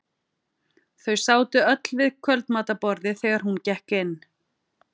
Þau sátu öll við kvöldmatarborðið þegar hún gekk inn.